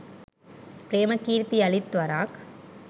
ප්‍රේමකීර්ති යළිත් වරක්